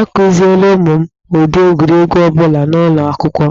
A kụziele ụmụ m ụdị egwuregwu ọ bụla n'ụlọ akwụkwọ,